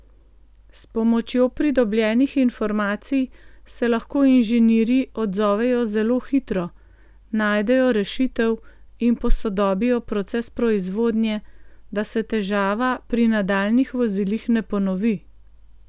S pomočjo pridobljenih informacij se lahko inženirji odzovejo zelo hitro, najdejo rešitev in posodobijo proces proizvodnje, da se težava pri nadaljnjih vozilih ne ponovi.